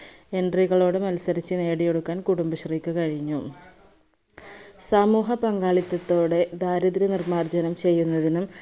entry കളോട് മൽസരിച്ചു നേടിയെടുക്കാൻ കുടുംബശ്രീക്ക് കഴിഞ്ഞു. സമൂഹ പങ്കാളിത്തത്തോടെ ദാരിദ്ര നിർമാർജനം ചെയ്യുന്നതിനും